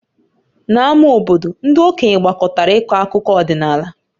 N'ámá obodo, ndị okenye gbakọtara ịkọ akụkọ ọdịnala